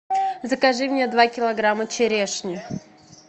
закажи мне два килограмма черешни